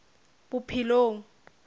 bophelong